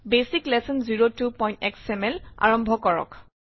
basic lesson 02xml আৰম্ভ কৰক